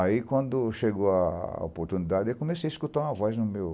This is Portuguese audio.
Aí, quando chegou a a oportunidade, eu comecei a escutar uma voz no meu...